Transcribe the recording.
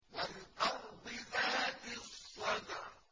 وَالْأَرْضِ ذَاتِ الصَّدْعِ